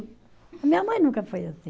Minha mãe nunca foi assim.